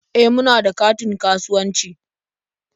E, muna da katin kasuwanci.